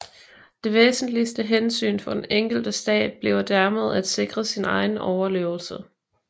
Det væsentligste hensyn for den enkelte stat bliver dermed at sikre sin egen overlevelse